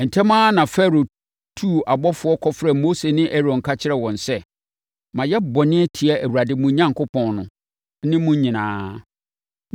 Ntɛm pa ara Farao tuu abɔfoɔ kɔfrɛɛ Mose ne Aaron ka kyerɛɛ wɔn sɛ, “Mayɛ bɔne atia Awurade, mo Onyankopɔn no, ne mo nyinaa.